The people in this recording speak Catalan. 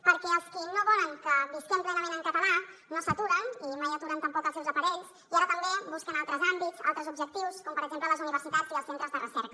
perquè els qui no volen que visquem plenament en català no s’aturen i mai aturen tampoc els seus aparells i ara també busquen altres àmbits altres objectius com per exemple les universitats i els centres de recerca